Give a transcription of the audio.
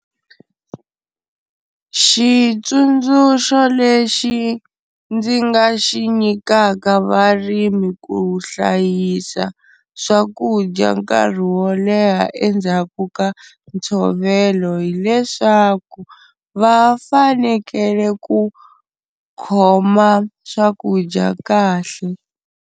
Xitsundzuxo lexi ndzi nga xi nyikaka varimi ku hlayisa swakudya nkarhi wo leha endzhaku ka ntshovelo, hileswaku va fanekele ku khoma swakudya kahle.